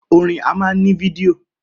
Orin á máa ní fídíò